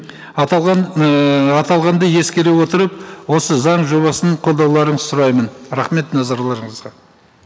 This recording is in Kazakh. аталған ііі аталғанды ескере отырып осы заң жобасын қолдауларыңызды сұраймын рахмет назарларыңызға